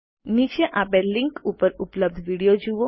નીચે આપેલ લીંક ઉપર ઉપલબ્ધ વિડીઓ જુઓ